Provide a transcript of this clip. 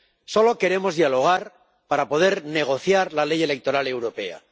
Solo queremos dialogar para poder negociar la ley electoral europea.